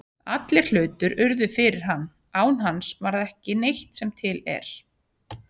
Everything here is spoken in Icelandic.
Allir hlutir urðu fyrir hann, án hans varð ekki neitt sem til er.